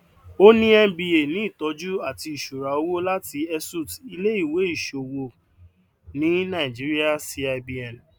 ó ní mba ní ìtọjú àti ìṣura owó láti esut iléèwé iṣòwò ni nàìjíríà cibn